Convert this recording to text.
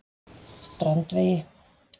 Strandvegi